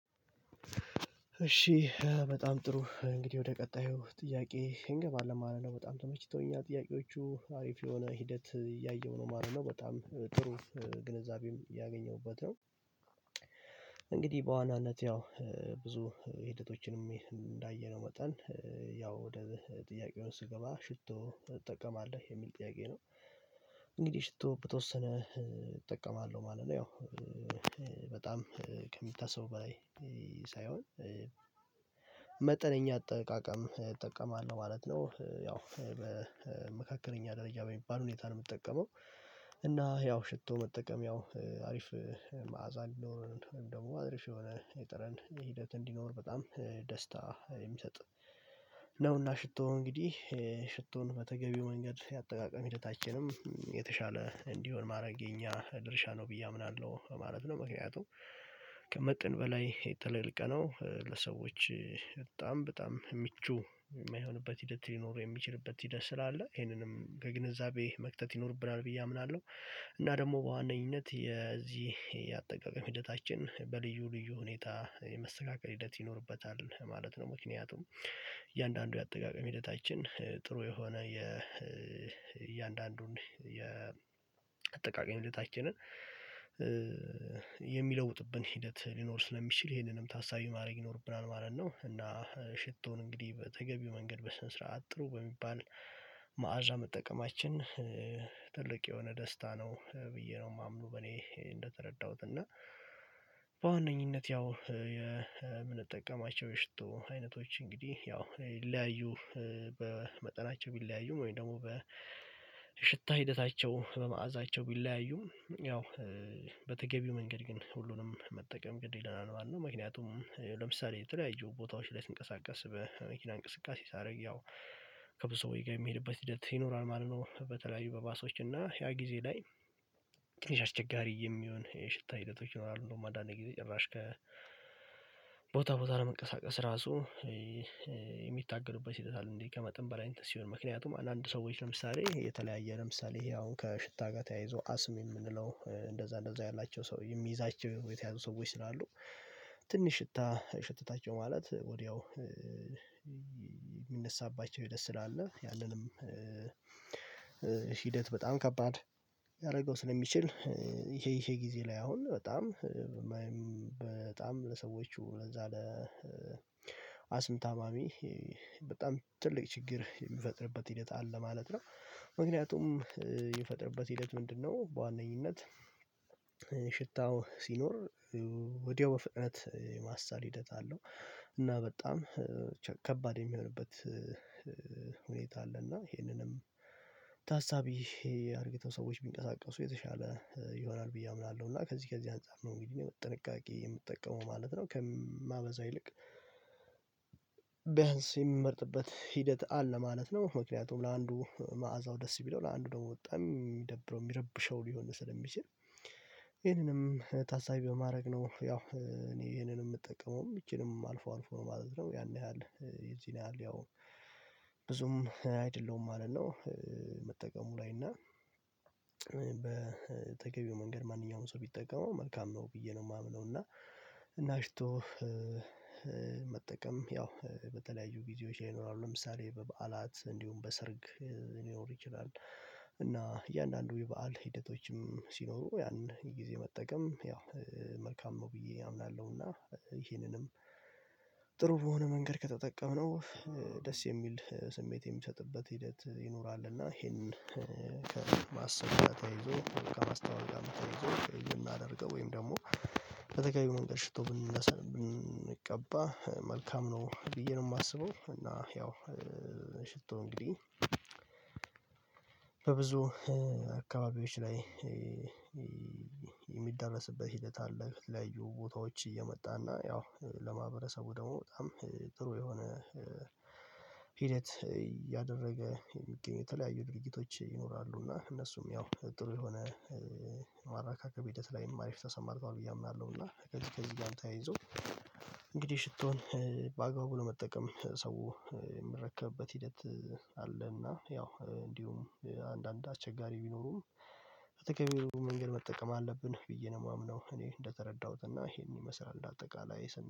እሺ በጣም ጥሩ እንግዲህ ወደ ቀጣዩ ጥያቄ እንገባለን ማለት ነው በጣም ተመችቶኛል ጥያቄዎቹ አሪፍ የሆነ ሂደት እያየሁ ነው ማለት ነው በጣም ጥሩ ግንዛቤም እያገኘሁበት ነው። እንግዲህ በዋናነት ያው ብዙ ሂደቶችንም እንዳየነው መጠን ያው ወደ ጥያቄው ስገባ ሽቶ ትጠቀማለህ የሚል ጥያቄ ነው። እንግዲህ ሽቶ በተወሰነ እጠቀማለሁ ማለት ነው ያው በጣም ከሚታሰበው በላይ ሳይሆን መጠነኛ አጠቃቀም እጠቀማለሁ ማለት ነው። ያው በመካከለኛ ደረጃ በሚባል ሁኔታ ነው የምጠቀመው። እና ያው ሽቶ መጠቀም ያው አሪፍ መዓዛ እንዲኖረን ደግሞ አሪፍ የሆነ የጠርን ሂደት እንዲኖር በጣም ደስታ የሚሰጥ ነውና ሽቶ እንግዲህ ሽቶን በተገቢው መንገድ የአጠቃቀም ሂደታችንም የተሻለ እንዲሆን ማድረግ የኛ ድርሻ ነው ብዬ አምናለሁ ማለት ነው። ምክንያቱም ከመጠን በላይ ተለቅልቀነው ለሰዎች በጣም በጣም ምቹ የማይሆንበት ሂደት ሊኖር የሚችልበት ሂደት ስላለ ይሄንንም ከግንዛቤ መክተት ይኖርብናል ብዬ አምናለሁ። እና ደግሞ በዋነኝነት የዚህ የአጠቃቀም ሂደታችን በልዩ ልዩ ሁኔታ የመስተካከል ሂደት ይኖርበታል ማለት ነው። ምክንያቱም እያንዳንዱ የአጠቃቀም ሂደታችን ጥሩ የሆነ የእያንዳንዱን የአጠቃቀም ሂደታችንን የሚለውጥብን ሂደት ሊኖር ስለሚችል ይሄንንም ታሳቢ ማድረግ ይኖርብናል ማለት ነው። እና ሽቶን እንግዲህ በተገቢው መንገድ በስነ ስርዓት ጥሩ በሚባል መዓዛ መጠቀማችን ትልቅ የሆነ ደስታ ነው ብዬ ነው የማምነው በኔ እንደተረዳሁት እና። በዋነኝነት ያው የምንጠቀማቸው የሽቶ አይነቶች እንግዲህ ያው ሊለያዩ በመጠናቸው ቢለያዩም ወይም ደግሞ በሽታ ሂደታቸው በመአዛቸው ቢለያዩም ያው በተገቢው መንገድ ግን ሁሉንም መጠቀም ግድ ይለናል ማለት ነው። ምክንያቱም ለምሳሌ የተለያዩ ቦታዎች ላይ ስንቀሳቀስ በመኪና እንቅስቃሴ ሳደርግ ያው ከብዙ ሰውዎች ጋር የሚሄድበት ሂደት ይኖራል ማለት ነው። በተለይ በባሶች እና ያ ጊዜ ላይ ትንሽ አስቸጋሪ የሚሆን የሽታ ሂደቶች ይኖራሉ እንደውም አንዳንድ ጊዜ ጭራሽ ከ ቦታ ቦታ ለመንቀሳቀስ ራሱ የሚታገሉበት ሂደት አለ። እንዲ ከመጠን በላይ እንትን ሲሆን ምክንያቱም አንዳንድ ሰዎች ለምሳሌ የተለያየ ለምሳሌ ይሄ አሁን ከሽታ ጋር ተያይዞ አስም የምንለው እንደዛ እንደዛ ያላቸው ሰው የሚይዛቸው የተያዙ ሰዎች ስላሉ ትንሽ ሽታ ሸታተቸው ማለት ወዲያው የሚነሳባቸው ሂደት ስላለ ያለንም ሂደት በጣም ከባድ ሊያረገው ስለሚችል ይሄ ይሄ ጊዜ ላይ አሁን በጣም በጣም ለሰዎቹ ለዛ ለአስም ታማሚ በጣም ትልቅ ችግር የሚፈጥርበት ሂደት አለ ማለት ነው። ምክንያቱም የሚፈጥርበት ሂደት ምንድነው? በዋነኝነት ሽታው ሲኖር ወዲያው በፍጥነት ማሳል ሂደት አለው እና በጣም ከባድ የሚሆንበት አለ እና ይሄንንም ታሳቢ አድርገው ሰዎች ቢንቀሳቀሱ የተሻለ ይሆናል ብዬ አምናለሁ። እና ከዚህ ከዚህ አንፃር ነው እንግዲህ ጥንቃቄ የምጠቀመው ማለት ነው ከማበዛ ይልቅ በያንስ የምመርጥበት ሂደት አለ ማለት ነው። ምክንያቱም ለአንዱ መዓዛው ደስ ቢለው ለአንዱ ደግሞ በጣም የሚደብረው የሚረብሸው ሊሆን ስለሚችል ይሄንንም ታሳቢ በማድረግ ነው ያው እኔ ይሄንን የምጠቀመውም ይቺንም አልፎ አልፎ ነው ማለት ነው ያን ያህል የዚህን ያህል ያው ብዙም አይደለሁም ማለት ነው። መጠቀሙ ላይ እና በተገቢው መንገድ ማንኛውም ሰው ቢጠቀመው መልካም ነው ብዬ ነው የማምነው። እና ሽቶ መጠቀም ያው በተለያዩ ጊዜዎች ላይ ይኖራሉ ለምሳሌ በበዓላት እንዲሁም በሰርግ ሊኖር ይችላል እና እያንዳንዱ የበአል ሂደቶችም ሲኖሩ ያን ጊዜ መጠቀም ያው መልካም ነው ብዬ አምናለሁ። እና ይሄንንም ጥሩ በሆነ መንገድ ከተጠቀምነው ደስ የሚል ስሜት የሚሰጥበት ሂደት ይኖራል እና ይሄንን ከማሰብ ጋር ተያይዞ ከማስታወቂያም ተያይዞ የምናደርገው ወይም ደግሞ በተገኘው መንገድ ሽቶ ብንቀባ መልካም ነው ብዬ ነው የማስበው። እና ያው ሽቶ እንግዲህ በብዙ አካባቢዎች ላይ የሚዳረስበት ሂደት አለ ከተለያዩ ቦታዎች እየመጣና ያው ለማህበረሰቡ ደግሞ በጣም ጥሩ የሆነ ሂደት እያደረገ የሚገኙ የተለያዩ ድርጊቶች ይኖራሉ እና እነሱም ያው ጥሩ የሆነ ማረካከብ ሂደት ላይም አሪፍ ተሰማርተዋል ብዬ አምናለሁ። እና ከዚህ ከዚህ ጋርም ተያይዞ እንግዲህ ሽቶን በአግባቡ ለመጠቀም ሰው የሚረከብበት ሂደት አለና ያው እንዲሁም አንዳንድ አስቸጋሪ ቢኖሩም በተገቢው መንገድ መጠቀም አለብን ብዬ ነው የማምነው። እኔ እንደተረዳሁትና ይሄን ይመስላል እንደ አጠቃላይ